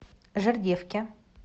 жердевке